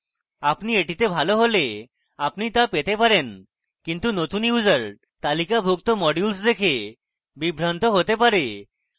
আপনি এটিতে ভালো হলে আপনি তা পেতে পারেন কিন্তু নতুন users তালিকাভুক্ত modules দেখে বিভ্রান্ত হতে পারে